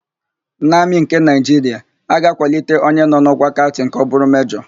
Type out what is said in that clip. N'Amị nke Naịjiria, a ga-akwalite onye nọ n'ọ́kwá Kaptịn ka ọ bụrụ Mejọ.